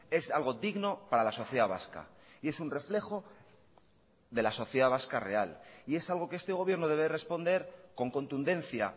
es algo digno para la sociedad vasca y es un reflejo de la sociedad vasca real y es algo que este gobierno debe responder con contundencia